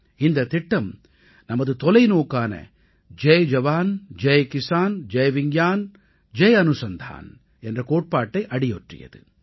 இந்தத் திட்டம் நமது தொலைநோக்கான ஜெய் ஜவான் ஜெய் கிஸான் ஜெய் விஞ்ஞான் ஜெய் அனுசந்தான் என்ற கோட்பாட்டை அடியொற்றியது